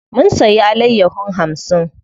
Mun siya alayyahon hamsin.